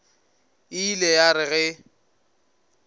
e ile ya re ge